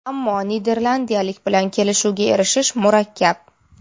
Ammo niderlandiyalik bilan kelishuvga erishish murakkab.